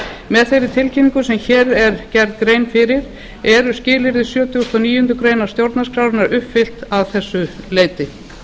með þeirri tilkynningu sem hér er gerð grein fyrir eru skilyrði sjötugasta og níundu grein stjórnarskrárinnar uppfyllt þessu leyti